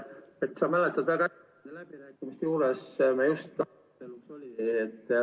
Mart, sa mäletad väga hästi, läbirääkimiste juures me just ....